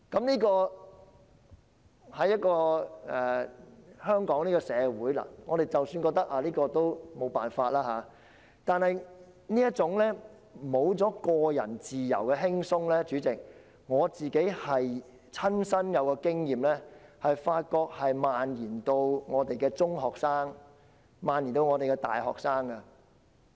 即使這種情況在香港社會是無可避免的，但我發覺這種失去個人自由的輕鬆的情況——主席，這是我的親身經驗——已經蔓延至中學生和大學生。